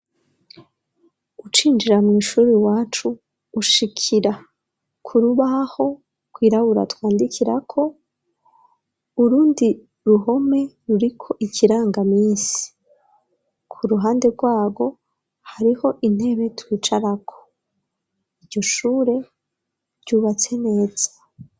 Ucinjira mw' ishuri wacu ushikira ku rubaho ku irabura twandikira ko, urundi ruhome ruriko ikiranga minsi, ku ruhande rwabo hariho intebe twicara ko, ijyo shure ryubatse neza.